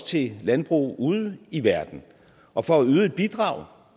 til landbrug ude i verden og for at yde et bidrag